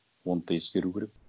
оны да ескеру керек